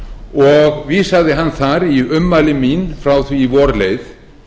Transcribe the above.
og vísaði hann þar í ummæli mín frá því er vor leið